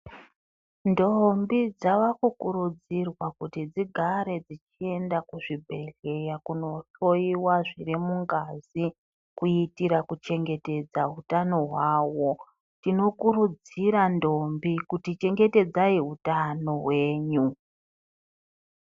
Ndombi dzakukurudzirwa kuti dzigare dzichienda kuzvibhehlera kunohloiwa zvirimungazi kuitira kuchengetedza hutano hwavo tinokurudzira ndombi kutichengetedzai hutano hwenyu.